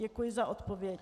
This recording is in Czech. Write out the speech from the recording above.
Děkuji za odpověď.